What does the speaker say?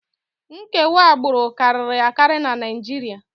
Nkewa agbụrụ karịrị akarị na Naịjirịa